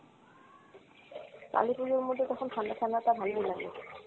কালি পুজোর মধ্যে তখন ঠাণ্ডা-ঠাণ্ডা টা ভালোই লাগে।